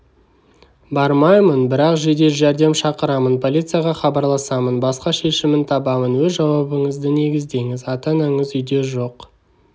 бармаймын бірақ жедел жәрдем шақырамын полицияға хабарласамын басқа шешімін табамын өз жауабыңызды негіздеңіз ата-анаңыз үйде жоқ